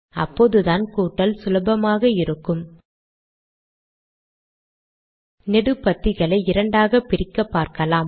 அப்போதுதானே கூட்டல் சுலபமாக இருக்கும் நெடுபத்திகளை இரண்டாக பிரிக்கப்பார்க்கலாம்